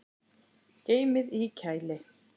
Geymið í kæli.